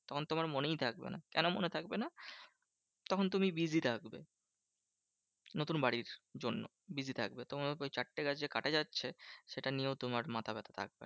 তখন তোমার মনেই থাকবে না। কেন মনে থাকবে না? তখন তুমি busy থাকবে নতুন বাড়ির জন্য busy থাকবে। তোমার ওই চারটে গাছ কাটা যাচ্ছে সেটা নিয়েও তোমার মাথা ব্যাথা থাকবে না।